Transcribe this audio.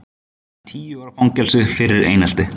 Tíu ára fangelsi fyrir einelti